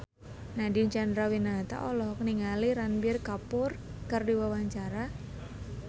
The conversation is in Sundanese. Nadine Chandrawinata olohok ningali Ranbir Kapoor keur diwawancara